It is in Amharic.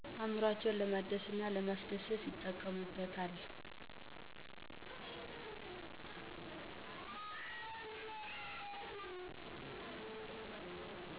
አእምሯቸውን ለማደስና ለማስደሰት ይጠቀሙበታል።